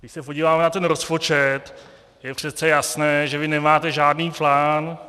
Když se podíváme na ten rozpočet, je přece jasné, že vy nemáte žádný plán.